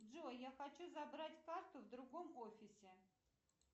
джой я хочу забрать карту в другом офисе